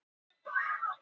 Stálu stórum flatskjá